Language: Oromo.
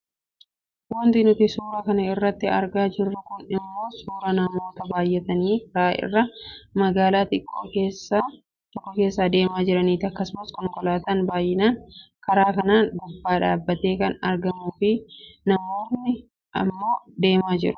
Wanti nuti suura kana irratti argaa jirru kun ammoo suuraa namoota baayyatanii karaa irra magaalaa xiqqoo tokko keessa deemaa jiraniiti. Akkasumas konkolaataan baayyinaan karaa kanan gubbaa dhaabbatee kan argamuufi namoonki ammoo deemaa jiru.